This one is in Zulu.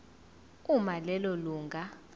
uma lelo lunga